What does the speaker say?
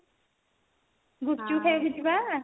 ଗୁପ୍ଚୁପ ଖାଇବାକୁ ଯିବା